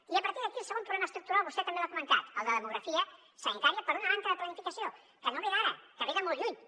i a partir d’aquí el segon problema estructural vostè també l’ha comentat el de demografia sanitària per una manca de planificació que no ve d’ara que ve de molt lluny